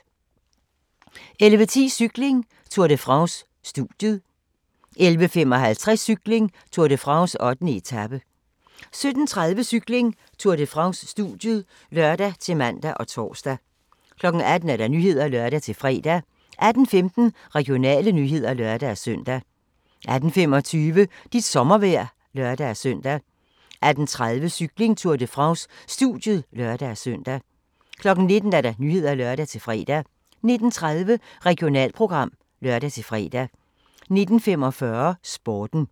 11:10: Cykling: Tour de France - studiet 11:55: Cykling: Tour de France - 8. etape 17:30: Cykling: Tour de France - studiet (lør-man og tor) 18:00: Nyhederne (lør-fre) 18:15: Regionale nyheder (lør-søn) 18:25: Dit sommervejr (lør-søn) 18:30: Cykling: Tour de France - studiet (lør-søn) 19:00: Nyhederne (lør-fre) 19:30: Regionalprogram (lør-fre) 19:45: Sporten